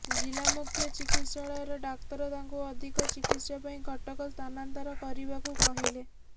ଜିଲ୍ଲା ମୁଖ୍ୟ ଚିକିତ୍ସାଳୟର ଡାକ୍ତର ତାଙ୍କୁ ଅଧିକ ଚିକିତ୍ସା ପାଇଁ କଟକ ସ୍ଥାନାନ୍ତର କରିବାକୁ କହିଲେ